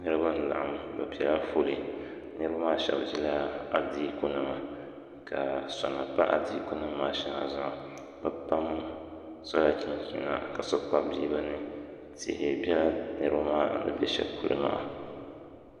Niriba n-laɣim bɛ piɛla fooli niriba maa shɛba ʒila adiikunima ka sona pa adiikunima maa shɛŋa zuɣu bɛ pam sola chinchina ka so kpabi bia bɛ ni tihi bela niriba maa ni be shɛli polo maa